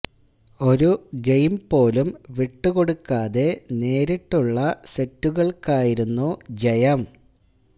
ഒരു ഗെയിം പോലും വിട്ടു കൊടുക്കാതെ നേരിട്ടുള്ള സെറ്റുകള്ക്കായിരുന്നു ജയം